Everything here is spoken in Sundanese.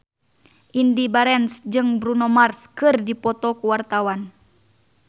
Indy Barens jeung Bruno Mars keur dipoto ku wartawan